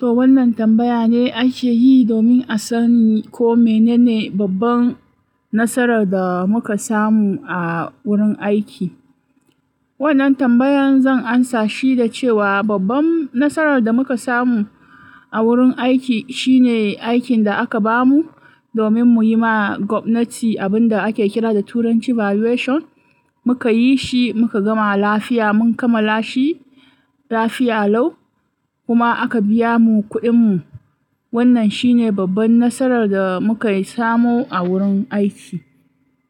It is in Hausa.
To wannan tambaya ne ake yi domin a sani ko menene babban nasarar da muka samu a wurin aiki. Wannan tambayan zan amsa shi da cewa babban nasarar da muka samu a wurin aiki shine aikin da aka bamu domin mu yi ma gwamnati abin da ake kira da turanci "valuation". Muka yi shi muka gama lafiya, mun kamala shi lafiya lau kuma aka biya mu kuɗin mu. Wannan shine babban nasarar da muka samo a wurin aiki.